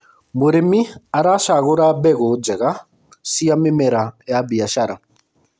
mũrĩmi aracagura mbegũ njega cia mĩmera ya biashara